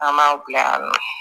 An m'a bila yan nɔ